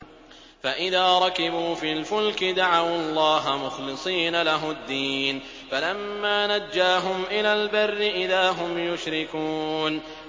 فَإِذَا رَكِبُوا فِي الْفُلْكِ دَعَوُا اللَّهَ مُخْلِصِينَ لَهُ الدِّينَ فَلَمَّا نَجَّاهُمْ إِلَى الْبَرِّ إِذَا هُمْ يُشْرِكُونَ